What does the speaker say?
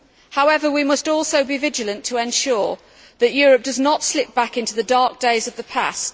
However, we must also be vigilant to ensure that Europe does not slip back into the dark days of the past.